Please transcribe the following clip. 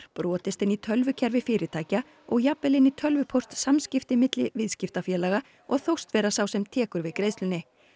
brotist inn í tölvukerfi fyrirtækja og jafnvel inn í tölvupóstsamskipti milli viðskiptafélaga og þóst vera sá sem tekur við greiðslunni